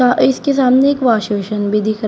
आ इसके सामने एक वॉश बेसन भी दिखा--